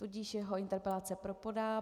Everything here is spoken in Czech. Tudíž jeho interpelace propadá.